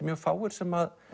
mjög fáir sem